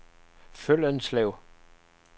Føllenslev